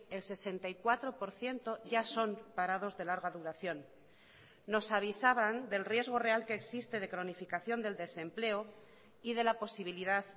el sesenta y cuatro por ciento ya son parados de larga duración nos avisaban del riesgo real que existe de cronificación del desempleo y de la posibilidad